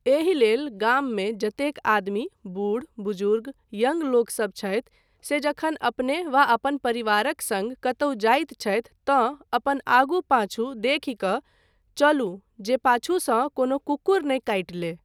एहि लेल गाममे जतेक आदमी, बूढ़, बुजुर्ग, यंग लोकसभ छथि से जखन अपने वा अपन परिवारक सङ्ग कतहुँ जाइत छथि तँ अपन आगू पांछू देखि कऽ चलू जे पाछूसँ कोनो कुक्कुर नहि काटि ले।